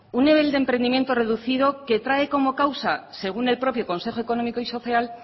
un nivel de emprendimiento reducido que trae como causa según el propio consejo económico y social